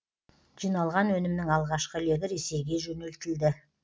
жиналған өнімнің алғашқы легі ресейге жөнелтілді